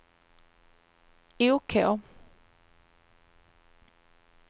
OK